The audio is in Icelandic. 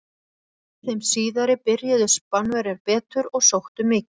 Í þeim síðari byrjuðu Spánverjar betur og sóttu mikið.